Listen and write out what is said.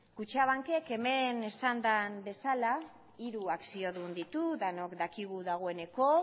kutxabankek hemen esan den bezala hiru akziodun ditu denok dakigu dagoeneko